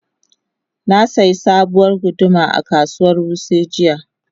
Na sayi sabuwar guduma a kasuwar Wuse jiya.